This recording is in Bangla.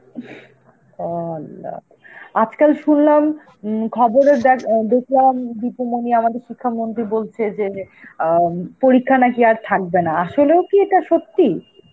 Arbi আজকাল শুনলাম উম খবরে দেখ~ আ দেখলাম দীপুমনি আমাদের, শিক্ষামন্ত্রী বলছে যে আ পরীক্ষা নাকি আর থাকবে না, আসলেও কি এটা সত্যি?